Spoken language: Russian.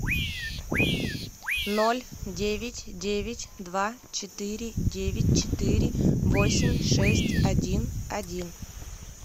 ноль девять девять два четыре девять четыре восемь шесть один один